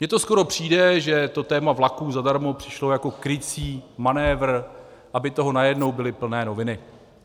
Mně to skoro přijde, že to téma vlaků zadarmo přišlo jako krycí manévr, aby toho najednou byly plné noviny.